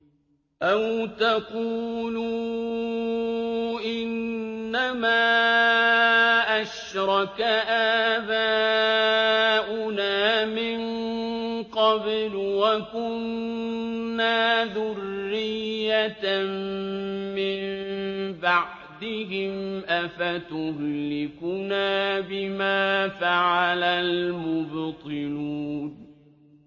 أَوْ تَقُولُوا إِنَّمَا أَشْرَكَ آبَاؤُنَا مِن قَبْلُ وَكُنَّا ذُرِّيَّةً مِّن بَعْدِهِمْ ۖ أَفَتُهْلِكُنَا بِمَا فَعَلَ الْمُبْطِلُونَ